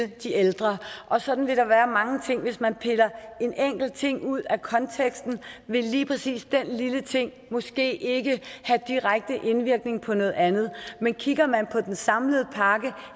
de ældre og sådan vil der være mange ting hvis man piller en enkelt ting ud af konteksten vil lige præcis den lille ting måske ikke have direkte indvirkning på noget andet men kigger man på den samlede pakke